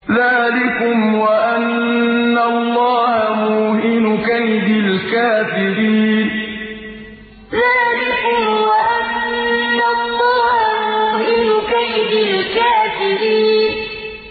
ذَٰلِكُمْ وَأَنَّ اللَّهَ مُوهِنُ كَيْدِ الْكَافِرِينَ ذَٰلِكُمْ وَأَنَّ اللَّهَ مُوهِنُ كَيْدِ الْكَافِرِينَ